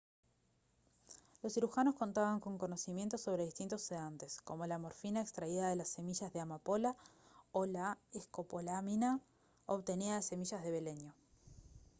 los cirujanos contaban con conocimientos sobre distintos sedantes como la morfina extraída de las semillas de amapola o la escopolamina obtenida de semillas de beleño